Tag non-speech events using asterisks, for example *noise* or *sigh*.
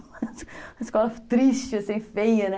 *laughs* Uma escola triste, assim, feia, né?